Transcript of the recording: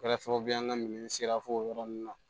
Kɛra sababu ye an ka minɛn sera fo o yɔrɔ ninnu na